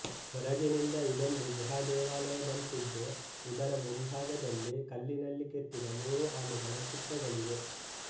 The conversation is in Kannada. ಹೊರಗಿನಿಂದ ಇದೊಂದು ಗುಹಾದೇವಾಲಯದಂತಿದ್ದು ಇದರ ಮುಂಭಾಗದಲ್ಲಿ ಕಲ್ಲಿನಲ್ಲಿ ಕೆತ್ತಿದ ಮೂರು ಆನೆಗಳ ಚಿತ್ರಗಳಿವೆ